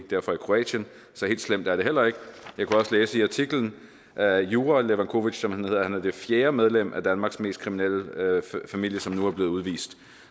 kroatien så helt slemt er det heller ikke jeg kunne også læse i artiklen at jura levacovic som han hedder er det fjerde medlem af danmarks mest kriminelle familie som nu er blevet udvist